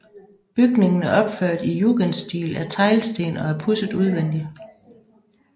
Bygningen er opført i jugendstil af teglsten og er pudset udvendigt